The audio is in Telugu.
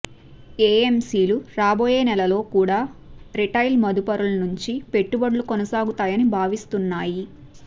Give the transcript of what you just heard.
ఏఎమ్సీ లు రాబోయే నెలలలో కూడా రిటైల్ మదుపర్ల నుంచి పెట్టుబడులు కొనసాగుతాయని భావిస్తున్నాయి